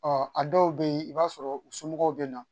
Ɔ a dɔw bɛ yen i b'a sɔrɔ u somɔgɔw bɛ na